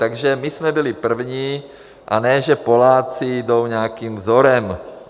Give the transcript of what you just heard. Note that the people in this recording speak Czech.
Takže my jsme byli první, a ne, že Poláci jdou nějakým vzorem.